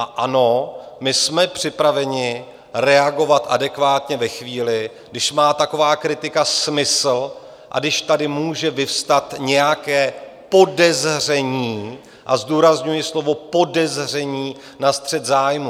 A ano, my jsme připraveni reagovat adekvátně ve chvíli, když má taková kritika smysl a když tady může vyvstat nějaké podezření, a zdůrazňuji slovo podezření, na střet zájmů.